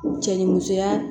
Cɛ ni musoya